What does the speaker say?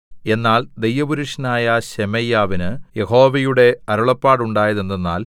എന്നാൽ ദൈവപുരുഷനായ ശെമയ്യാവിന് യഹോവയുടെ അരുളപ്പാടുണ്ടായതെന്തെന്നാൽ